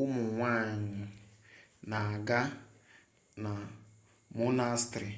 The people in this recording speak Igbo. ụmụ nwanyị na-aga na monastrị